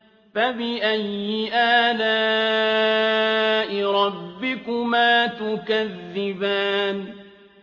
فَبِأَيِّ آلَاءِ رَبِّكُمَا تُكَذِّبَانِ